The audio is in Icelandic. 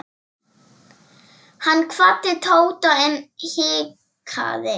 Hann kvaddi Tóta en hikaði.